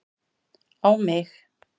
á mig